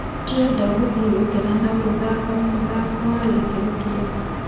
Tũrenda gũthiĩ gũkena na gũthake mũthako wa gĩkĩro kĩega."